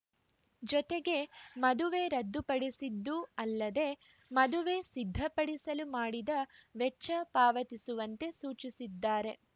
ಜೊತೆಗೆ ಮದುವೆ ರದ್ದುಪಡಿಸಿದ್ದೂ ಅಲ್ಲದೆ ಮದುವೆ ಸಿದ್ಧಪಡಿಸಲು ಮಾಡಿದ ವೆಚ್ಚ ಪಾವತಿಸುವಂತೆ ಸೂಚಿಸಿದ್ದಾರೆ